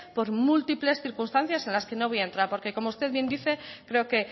por múltiples circunstancias en las que no voy a entrar porque como usted bien dice creo que